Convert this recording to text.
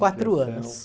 Quatro anos.